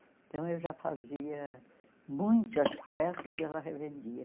Então eu já fazia muitas peças e ela revendia.